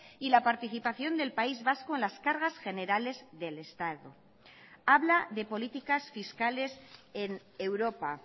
y la participación del país vasco en las cargas generales del estado habla de políticas fiscales en europa